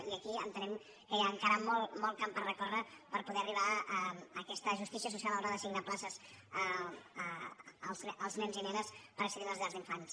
i aquí entenem que hi ha encara molt camp per recórrer per poder arribar a aquesta justícia social a l’hora d’assignar places als nens i nenes per accedir a les llars d’infants